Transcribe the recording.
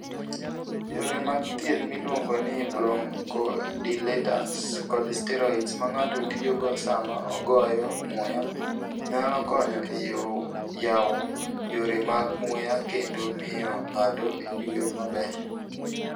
Yore mag thieth miluongo ni bronchodilators kod steroids ma ng'ato tiyogo sama ogoyo muya, nyalo konyo e yawo yore mag muya kendo miyo ng'ato oyue maber.